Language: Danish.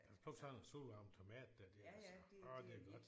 At plukke sådan en solvarm tomat der det er altså åh det er godt